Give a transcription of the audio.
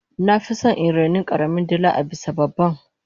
nafison in raini karamin dila abisa babban